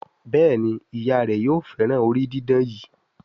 Béèni Ìyá rẹ yóò féràn orí didán yí.